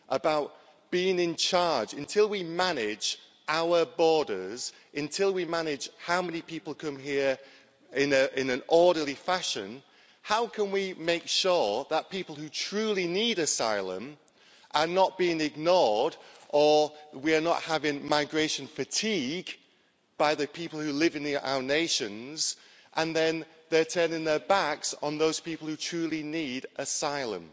about being in charge our borders, until we manage how many people come here in an orderly fashion, how can we make sure that people who truly need asylum are not being ignored, or that we're not creating migration fatigue among the people who live in our nations, leading them to turn their backs on those people who truly need asylum?